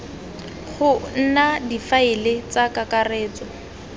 go nna difaele tsa kakaretso